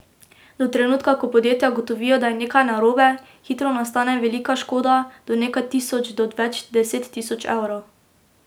Do trenutka, ko podjetja ugotovijo, da je nekaj narobe, hitro nastane velika škoda, od nekaj tisoč do več desettisoč evrov.